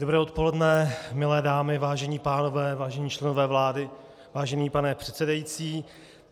Dobré odpoledne, milé dámy, vážení pánové, vážení členové vlády, vážený pane předsedající.